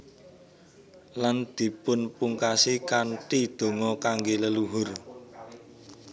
Lan dipunpungkasi kanthi donga kangge leluhur